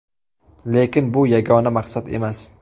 Lekin bu yagona maqsad emas.